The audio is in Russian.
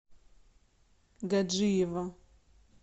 гаджиево